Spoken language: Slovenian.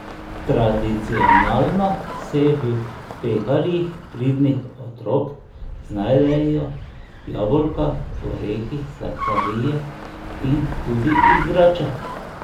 Tradicionalno se v peharjih pridnih otrok znajdejo jabolka, orehi, sladkarije in tudi igrače.